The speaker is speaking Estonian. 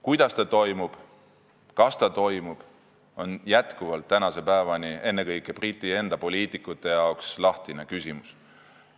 Kuidas see toimub, kas see toimub, on tänase päevani ennekõike Briti enda poliitikute jaoks lahtine küsimus.